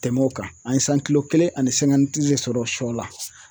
Tɛmɛ o kan, an ye kelen ani de sɔrɔ sɔ la.